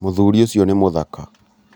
muthuri ũcio nĩ mũthaka